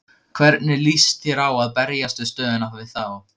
Hvernig lýst þér á að berjast við stöðuna við þá?